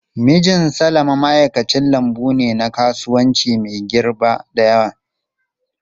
Mijin Salama ma'aikacin lambu ne na kasuwanci mai girba da yawa.